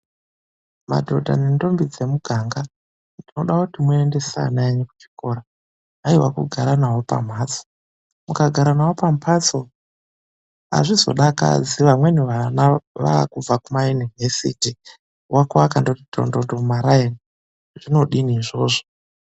Madhodha nendombi dzemuganga, ndinoda kuti muendese ana enyu kuchikora. Hayiwa kugara navo pamhatso. Mukagara navo pamhatso, hazvizodakadzi vamweni vana vavakubva kumaYunivhesiti, wako akangoti tondondo mumaraini. Zvinodini izvozvo?